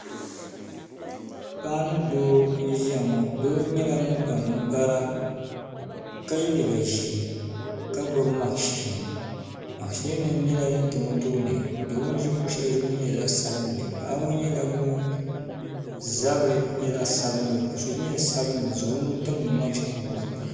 paɣa ni doo n-ʒiya ŋɔ doo nyɛla ŋun kpa ninkpara ka ye liiga ʒee ka gbubi makshin makshinima nyɛla din tam o tooni ka o ʒi kuɣ'shɛli zuɣu ŋɔ nyɛ zaɣ' sabinli paɣa ŋɔ nyɛla ŋun zabiri nyɛ zaɣ' sabinli o sɔ jinjam sabinli o zaŋ o nuu timdi makshin ŋɔ puuni.